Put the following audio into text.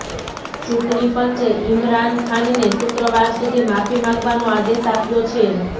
ચૂંટણી પંચે ઇમરાન ખાનને શુક્રવાર સુધી માફી માંગવાનો આદેશ આપ્યો છે